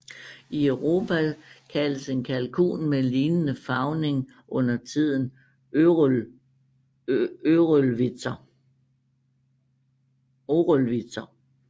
I Europa kaldes en kalkun med lignende farvning undertiden Cröllwitzer